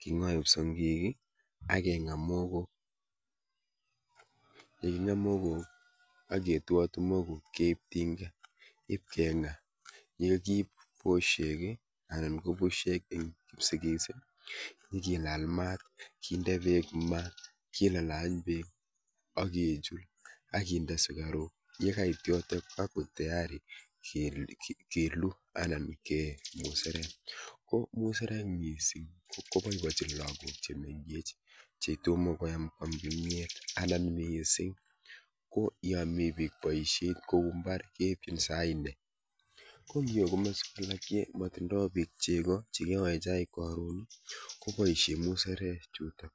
king'ae kipsongik, akeng'a muhogo. Yeking'a muhogok, aketuatui muhogo keib tinga ipkeng'a. Yekiibposiek anan kobusiek ing' kipsigis, ngilal maat kiinde peek ma kilalany peek akechul akinde sukaruk yekait yootok kakoek tayari kelu anan keee musarek. Ko musarek miising' koboiboichin lagook chemengech chetomo koem kwam kimyiet anan miising' ko ya mi biik boisiet kouu mbar keibchin saa nne. matindoi biik chego chekiyoe chaik karoon koboisie musarek chuutok